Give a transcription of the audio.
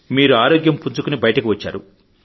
మీరు ఆరోగ్యం పుంజుకొని బయటికి వచ్చారు